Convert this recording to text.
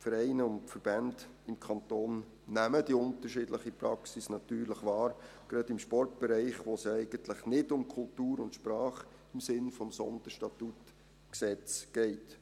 – Die Vereine und Verbände im Kanton nehmen die unterschiedliche Praxis natürlich wahr, gerade im Sportbereich, wo es ja eigentlich nicht um Kultur und Sprache im Sinne des SStG geht.